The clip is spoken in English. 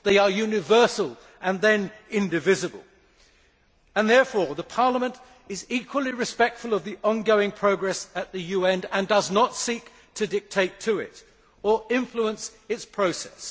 They are universal and indivisible. Therefore the Parliament is equally respectful of the ongoing progress at the UN and does not seek to dictate to it or influence its process.